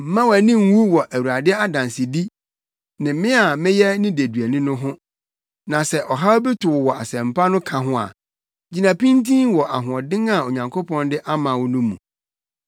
Mma wʼani nnwu wɔ Awurade adansedi, ne me a meyɛ ne deduani no ho. Na sɛ ɔhaw bi to wo wɔ Asɛmpa no ka ho a, gyina pintinn wɔ ahoɔden a Onyankopɔn de ama wo no mu.